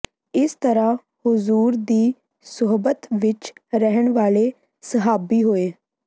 ਇਸ ਤਰ੍ਹਾਂ ਹੁਜੂਰ ਦੀ ਸੁਹਬਤ ਵਿੱਚ ਰਹਿਣ ਵਾਲੇ ਸਹਾਬੀ ਹੋਏ